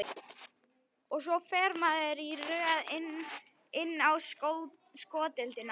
Og svo fer maður í röð inn á sko deildina.